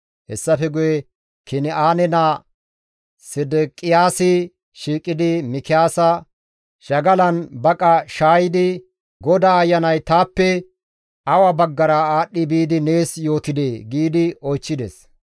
Hessafe guye Kin7aane naa Sedeqiyaasi shiiqidi Mikiyaasa shagalan baqa shaayidi, «GODAA Ayanay taappe awa baggara aadhdhi biidi nees yootidee?» giidi oychchides.